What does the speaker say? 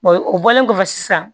o bɔlen kɔfɛ sisan